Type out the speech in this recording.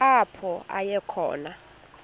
apho aya khona